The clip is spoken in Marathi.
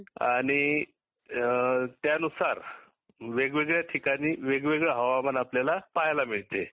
आणि त्यानुसार वेगवेगळ्या ठिकाणी वेगवेगळे हवामान आनल्याला पहायला मिळते